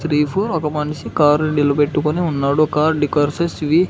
Three four ఒక మనిషి car నిలబెట్టుకొని ఉన్నాడు కారు డెకార్స్ వి.